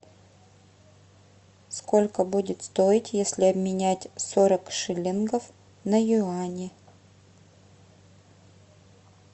сколько будет стоить если обменять сорок шиллингов на юани